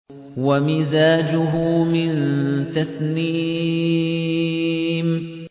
وَمِزَاجُهُ مِن تَسْنِيمٍ